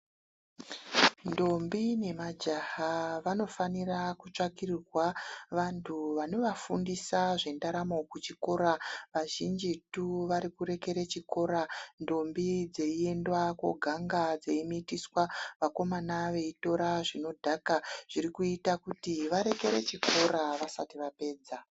Ndombi nemajaha vanofanira kutsvakirwa vanhu vanovafundisa zvendaramo kuchikora, kazhinjitu varikurekera chikora, ndombi dzeenda koganga, dzeimitiswa ,vakomana veitora zvinodhaka zvirikuita kuti varekere chikora vasati vapedza.